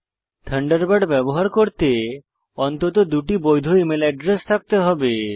Thunderbird ব্যবহার করতে অন্তত দুটি বৈধ ইমেল এড্রেস থাকতে হবে